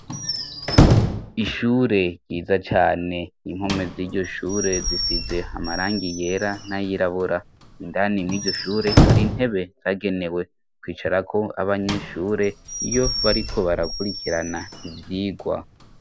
Ishure ryiza cane inkome z'iryo shure zisize hamarangi yera n'ayirabura indani miryo shure hari ntebe zagenewe kwicarako abanyeshure iyo bariko barakurikirana ivyigwa.